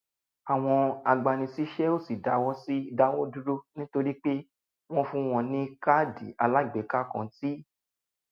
àwọn agbanisíṣẹ́ ò sì dáwọ́ sì dáwọ́ dúró nítorí pé wọ́n fún wọn ní káàdì alágbèéká kan tí